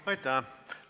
Aitäh!